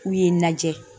K'u ye lajɛ